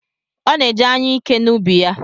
Ọ na-eji anyụike n’ubi ya.